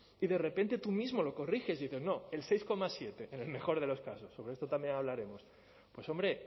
y de repente tú mismo lo corriges y dices no el seis coma siete en el mejor de los casos sobre esto también hablaremos pues hombre